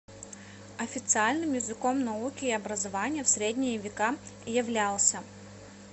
официальным языком науки и образования в средние века являлся